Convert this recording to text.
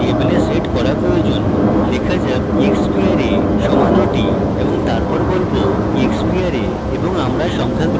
লেখা যাক exparray সমান ওটি এবং তারপর বলব exparray এবং আমরা সংখ্যাগুলিকে echo করতে পারি